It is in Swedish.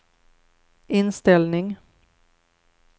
inställning